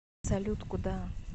салют куда